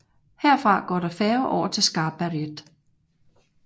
Herfra går der færge over til Skarberget